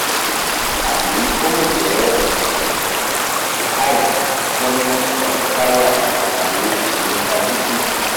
tabi o le jẹ hives chronic urticaria tabi lymphangitis